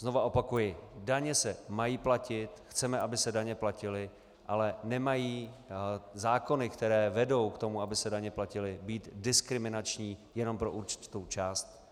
Znova opakuji, daně se mají platit, chceme, aby se daně platily, ale nemají zákony, které vedou k tomu, aby se daně platily, být diskriminační jenom pro určitou část.